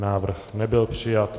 Návrh nebyl přijat.